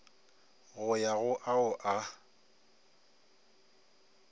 go ya go ao a